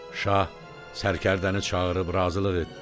Şah sərkərdəni çağırıb razılıq etdi.